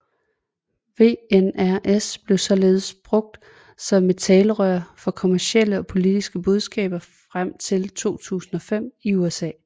VNRs blev således brugt som et talerør for kommercielle og politiske budskaber frem til 2005 i USA